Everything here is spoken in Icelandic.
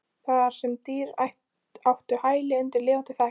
Þar sem dýr áttu hæli undir lifandi þaki.